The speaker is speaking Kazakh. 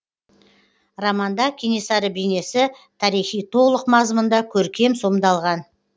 романда кенесары бейнесі тарихи толық мазмұнда көркем сомдалған